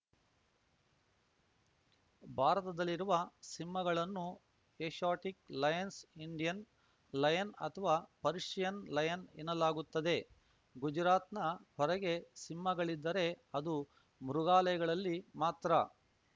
ಭಾರತದಲ್ಲಿರುವ ಸಿಂಹಗಳನ್ನು Asiatic lions Indian lion ಅಥವಾ ಪರ್ಷಿಯನ್‌ ಲಯನ್‌ ಎನ್ನಲಾಗುತ್ತದೆ ಗುಜರಾತ್‌ನ ಹೊರಗೆ ಸಿಂಹಗಳಿದ್ದರೆ ಅದು ಮೃಗಾಲಯಗಳಲ್ಲಿ ಮಾತ್ರ